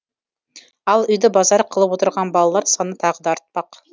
ал үйді базар қылып отырған балалар саны тағы да артпақ